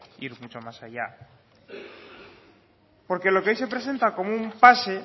ir mucho más allá porque lo que hoy se presenta como un pase